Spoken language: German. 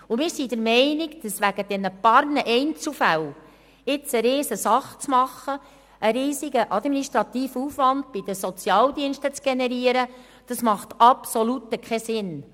Es macht unseres Erachtens absolut keinen Sinn, wegen einiger Einzelfälle eine Riesensache zu machen und bei den Sozialdiensten einen riesigen administrativen Aufwand zu generieren.